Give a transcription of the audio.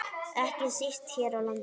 Ekki síst hér á landi.